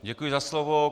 Děkuji za slovo.